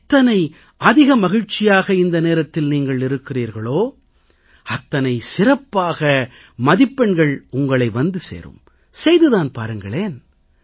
எவ்வளவு அதிக மகிழ்ச்சியாக இந்த நேரத்தில் நீங்கள் இருக்கிறீர்களோ அவ்வளவு சிறப்பான மதிப்பெண்கள் உங்களை வந்து சேரும் செய்து தான் பாருங்களேன்